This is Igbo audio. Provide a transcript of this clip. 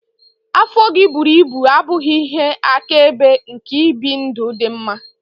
Afọ gị buru ibu abụghị ihe akaebe nke ibi ndụ dị mma.